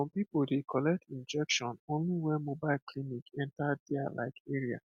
some people dey collect injection only when mobile clinic enter their like area